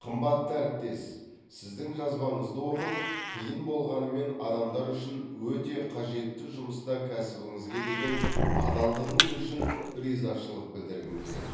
қымбатты әріптес сіздің жазбаңызды оқып қиын болғанымен адамдар үшін өте қажетті жұмыста кәсібіңізге деген адалдығыңыз үшін ризашылық білдіргім келеді